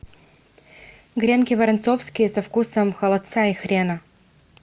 гренки воронцовские со вкусом холодца и хрена